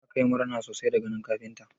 Meyasa ka yi murna sosai da ganin kafintan?